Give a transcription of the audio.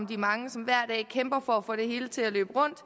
de mange som hver dag kæmper for at få det hele til at løbe rundt